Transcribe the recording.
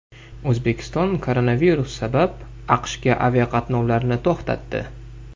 O‘zbekiston koronavirus sabab AQShga aviaqatnovlarni to‘xtatdi.